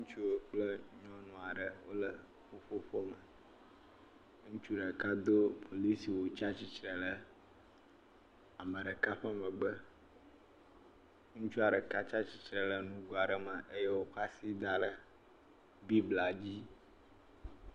Nutsu aɖe kple nyɔnu aɖe wole ƒu ƒoƒu me. Ŋutsu ɖeka do polisi wu eye wò tsia tsitre ɖe ame ɖeka ƒe megbe. Ŋutsu ɖeka kɔ asi da ɖe nugo aɖe me eye wòkɔ asi da ɖe blibla dzi.